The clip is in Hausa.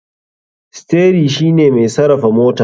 Steri shine mai sarafa motan.